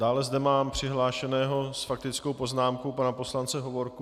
Dále zde mám přihlášeného s faktickou poznámkou pana poslance Hovorku.